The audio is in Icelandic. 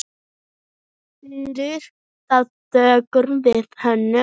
Fyrir það þökkum við honum.